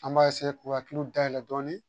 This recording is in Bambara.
An b'a k'u hakiliw dayɛlɛ dɔɔni